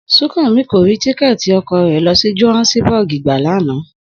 Súnkànmí k rí tíkẹ́ẹ̀tì ọkọ̀ rẹ̀ lọ sí Johannesburg gbà lánàá?